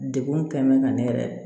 Degun tɛ mɛn ka ne yɛrɛ